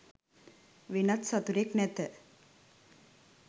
වෙනත් සතුරෙක් නැත.